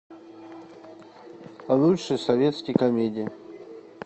лучшие советские комедии